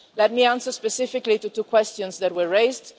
Let me answer specifically two questions that were raised.